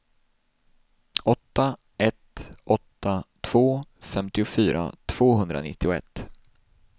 åtta ett åtta två femtiofyra tvåhundranittioett